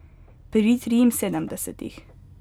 Pri triinsedemdesetih.